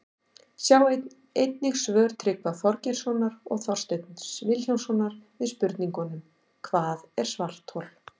Sjá einnig svör Tryggva Þorgeirssonar og Þorsteins Vilhjálmssonar við spurningunum Hvað er svarthol?